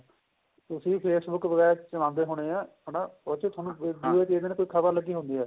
ਤੁਸੀਂ ਵੀ Facebook ਵਗੈਰਾ ਚਲਾਉਦੇ ਹੋਣੇ ਆ ਹਨਾ ਉਹ ਚ ਦੂਏ ਤੀਏ ਦਿਨ ਕੋਈ ਖ਼ਬਰ ਲੱਗੀ ਹੁੰਦੀ ਏ